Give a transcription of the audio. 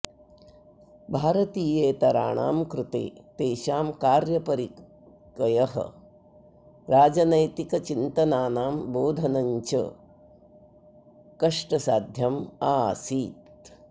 भारतीयेतराणां कृते तेषां कार्यपरिकयः राजनैतिकचिन्तनानां बोधनञ्च कष्टसाध्यम् आसीत्